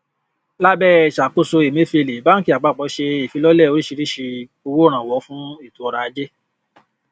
lábẹ ìṣàkóso emefiele bánkì àpapọ ṣe ìfilọlẹ oríṣiríṣi owó ìrànwọ fún ètò ọrọ̀-ajé